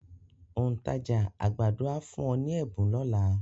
Òǹtajà àgbàdo á fún wọn ní ẹ̀bùn lọ́la.